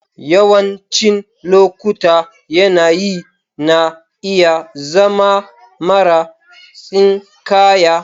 Yawancin lokuta yanayi na iya zama mara tsinkaya.